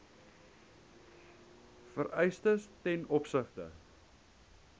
vereistes ten opsigte